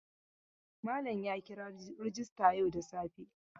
Malam ya kira rajista yau da safe.